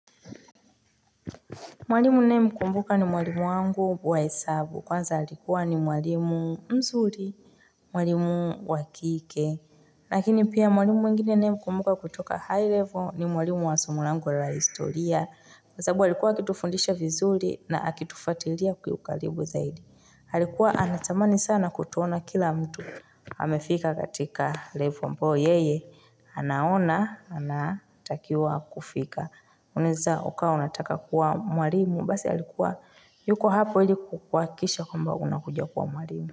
Mwalimu ninayemkumbuka ni mwalimu wangu wa hesabu, kwanza alikuwa ni mwalimu mzuri, mwalimu wa kike. Lakini pia mwalimu mwingine ninayemkumbuka kutoka high level ni mwalimu wa somo langu la historia. Kwa sababu alikuwa akitufundisha vizuri na akitufuatilia kwa karibu zaidi. Alikuwa anatamani sana kutuona kila mtu amefika katika level ambayo yeye anaona, anatakiwa kufika. Unaeza ukawa unataka kuwa mwalimu basi alikuwa yuko hapo ili kuhakikisha kwamba unakuja kuwa mwalimu.